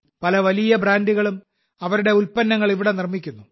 പല വലിയ ബ്രാൻഡുകളും അവരുടെ ഉൽപ്പന്നങ്ങൾ ഇവിടെ നിർമ്മിക്കുന്നു